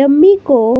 dummy को--